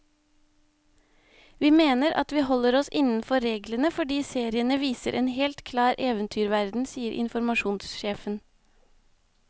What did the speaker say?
Vi mener at vi holder oss innenfor reglene, fordi seriene viser en helt klar eventyrverden, sier informasjonssjefen.